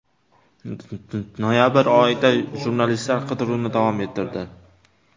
Noyabr oyida jurnalistlar qidiruvni davom ettirdi.